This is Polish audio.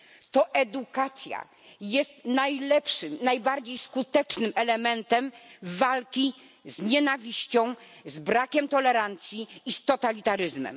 To edukacja jest najlepszym, najbardziej skutecznym elementem walki z nienawiścią, z brakiem tolerancji i z totalitaryzmem.